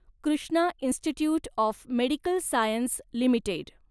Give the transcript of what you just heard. Krishna institute of medical science limited